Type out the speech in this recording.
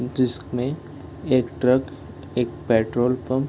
जिसमें एक ट्रक एक पेट्रोल पंप --